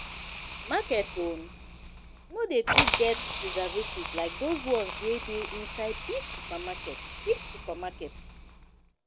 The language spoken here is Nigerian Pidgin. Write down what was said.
market own no dey too get presevatives like those ones wey dey inside big supermarket big supermarket